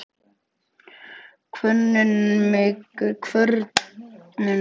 Kvörnin vinnur vel, en slitnar fljótt af núningnum.